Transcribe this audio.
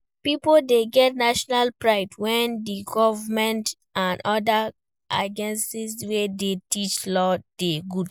Pipo de get national pride when di government and other agencies wey de teach law de good